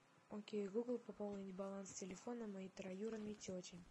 окей гугл пополнить баланс телефона моей троюродной тети